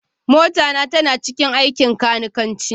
Mota na tana cikin aikin kanikanci